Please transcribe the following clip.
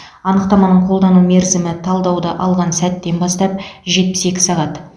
анықтаманың қолдану мерзімі талдауды алған сәттен бастап жетпіс екі сағат